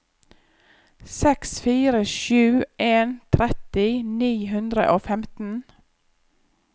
seks fire sju en tretti ni hundre og femten